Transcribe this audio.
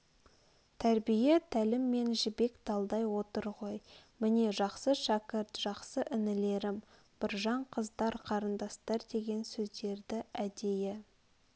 тәрбие-тәліммен жібек талдай отыр ғой міне жақсы шәкірт жақсы інілерім біржан қыздар қарындастар деген сөздерді әдейі